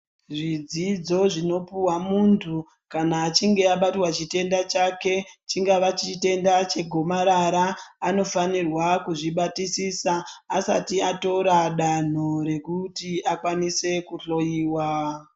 Zvidzidzo zvinopuhwa muntu kana achinge abatwa chitenda chake, chingava chitenda chegomarara anofanirwa kuzvibatisisa asati atora danho rekuti akwanise kuhloiwa.